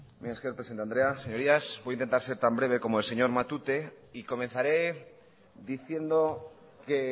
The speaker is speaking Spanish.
mila esker presidente andrea señorías voy a intentar ser tan breve como el señor matute y comenzaré diciendo que